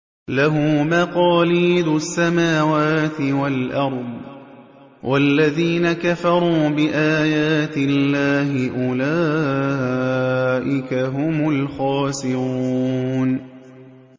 لَّهُ مَقَالِيدُ السَّمَاوَاتِ وَالْأَرْضِ ۗ وَالَّذِينَ كَفَرُوا بِآيَاتِ اللَّهِ أُولَٰئِكَ هُمُ الْخَاسِرُونَ